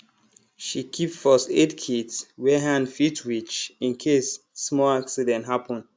she keep firstaid kit where hand fit reach in case small accident happen